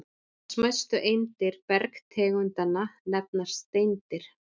Þessar smæstu eindir bergtegundanna nefnast steindir.